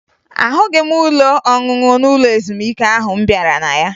Ahụghị m ụlọ ọṅụṅụ n'ụlọ ezumike ahụ m bịara na ya